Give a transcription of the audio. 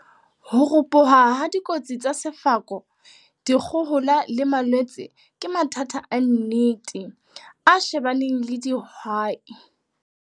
Ho ropoha ha dikotsi tsa sefako, dikgohola le malwetse ke mathata a nnete, a shebaneng le dihwai.